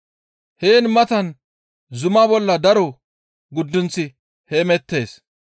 Heen matan zuma bolla daro guddunththi heemettees.